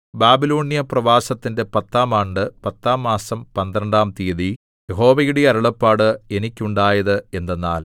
ബാബിലോന്യ പ്രവാസത്തിന്റെ പത്താം ആണ്ട് പത്താം മാസം പന്ത്രണ്ടാം തീയതി യഹോവയുടെ അരുളപ്പാട് എനിക്കുണ്ടായത് എന്തെന്നാൽ